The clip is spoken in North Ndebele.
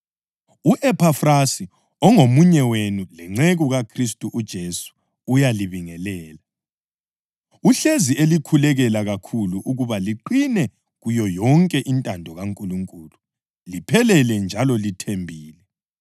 U-Ephafrasi ongomunye wenu lenceku kaKhristu uJesu uyalibingelela. Uhlezi elikhulekela kakhulu ukuba liqine kuyo yonke intando kaNkulunkulu liphelele njalo lithembile.